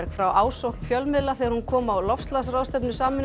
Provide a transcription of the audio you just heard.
frá ásókn fjölmiðla þegar hún kom á loftslagsráðstefnu Sameinuðu